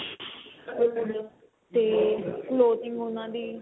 ਤੇ floating ਉਹਨਾ ਦੀ